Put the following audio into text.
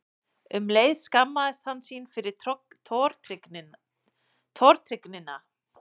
Um leið skammaðist hann sín fyrir tortryggnina.